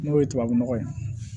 N'o ye tubabu nɔgɔ ye